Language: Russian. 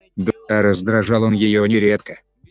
а раздражал он её нередко